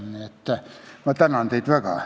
Nii et ma tänan teid väga.